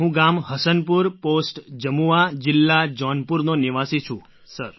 હું ગામ હસનપુર પૉસ્ટ જમુઆ જિલ્લા જૌનપુરનો નિવાસી છું સર